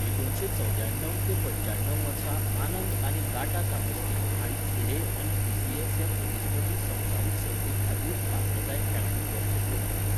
एकुणशे चौवद्याणव ते पंच्याणव वर्सा आनंद आनी गाटा कामस्की हांणी फिडे आनी पी.सी.ए. ह्या प्रतिस्पर्धी संवसारीक सर्तीं खातीर पात्रताय खेळांनी वर्चस्व गाजयलें.